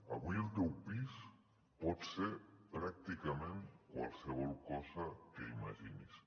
avui el teu pis pot ser pràcticament qualsevol cosa que imaginis